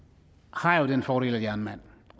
har jeg jo den fordel at jeg er en mand